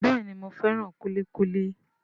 Bẹ́ẹ̀ni, mo fẹ́ràn kúlíkúlí